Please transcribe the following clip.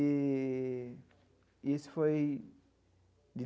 E isso foi de.